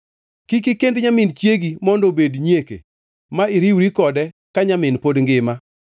“ ‘Kik ikend nyamin chiegi mondo obed nyieke ma iriwri kode ka nyamin pod ngima.